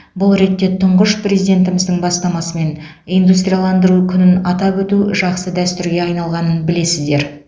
бұл ретте тұңғыш президентіміздің бастамасымен индустрияландыру күнін атап өту жақсы дәстүрге айналғанын білесіздер